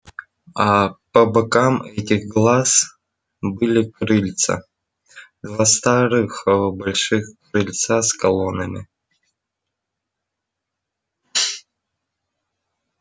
аа по бокам этих глаз были крыльца два старых ээ больших крыльца с колоннами